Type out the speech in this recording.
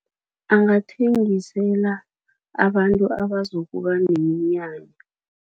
Angathengisela abantu abazokuba neminyanya.